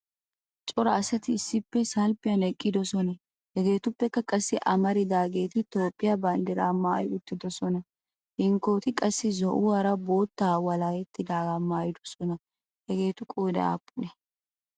cora asati issippe salppiyan eqqidoosona. hegetuppekka qassi amarodaageti toophiya banddiraa maayi uttidoosona. hinkkoti qassi zo''uwaara boottaara walahettidaaga maayidoosona. hageetu qooday aappunee?